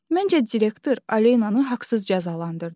Məncə direktor Alenanı haqsız cəzalandırdı.